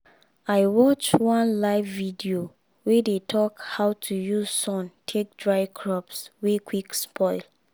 i watch one live video wey dey talk how to use sun take dry crops wey quick spoil